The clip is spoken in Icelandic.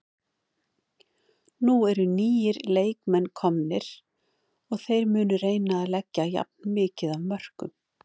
Nú eru nýir leikmenn komnir og þeir munu reyna að leggja jafn mikið af mörkum.